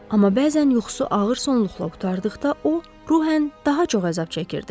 Amma bəzən yuxusu ağır sonluqla qurtardıqda o ruhen daha çox əzab çəkirdi.